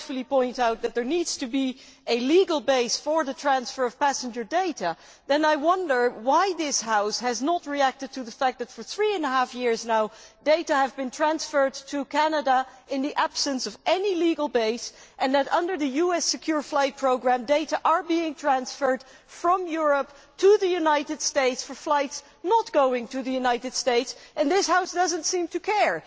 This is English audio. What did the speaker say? He rightly points out that there needs to be a legal base for the transfer of passenger data, so I wonder why this House has not reacted to the fact that, for three and a half years now, data has been transferred to Canada in the absence of any legal base and that, under the US secure flight programme, data is being transferred from Europe to the United States for flights not going to the United States, while this House does not seem to care.